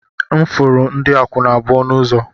M furu ndị akwụna abụọ n'ụzọ